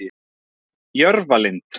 Jörfalind